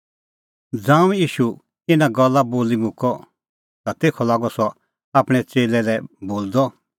ज़ांऊं ईशू इना गल्ला बोली मुक्कअ ता तेखअ लागअ सह आपणैं च़ेल्लै लै बोलदअ